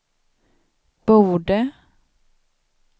borde